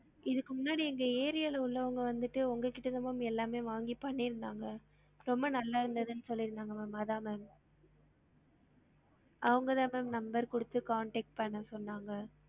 இதுக்கு முன்னாடி எங்க area ல உள்ளவங்க வந்துட்டு உங்க கிட்ட தான் ma'am எல்லாமே வாங்கி பண்ணிருந்தாங்க ரொம்ப நல்லா இருந்தது னு சொல்லிருந்தாங்க ma'am அதான் ma'am அவங்கதான் ma'am number குடுத்து contact பண்ண சொன்னாங்க